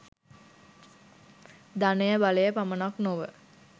ධනය බලය පමණක් නොව